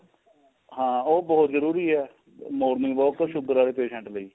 ਹਾਂ ਉਹ ਬਹੁਤ ਜਰੂਰੀ ਏ morning walk ਤਾਂ sugar ਵਾਲੇ patient ਲਈ